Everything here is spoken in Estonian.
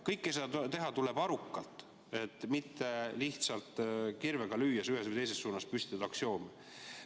Kõike seda tuleb teha arukalt, mitte lihtsalt kirvega lüües, ühes või teises suunas aksioome püstitades.